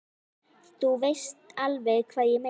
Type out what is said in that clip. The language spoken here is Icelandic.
Þú veist alveg hvað ég meina!